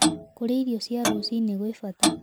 Kũrĩa irio cia rũcĩ-ĩnĩ gwĩ bata